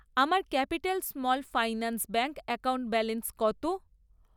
আমার capital small finance bank account balance কত?